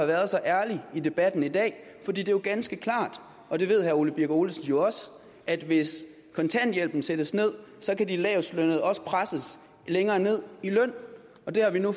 været så ærlig i debatten i dag for det er jo ganske klart og det ved herre ole birk olesen også at hvis kontanthjælpen sættes ned så kan de lavestlønnede også presses længere ned i løn det har vi nu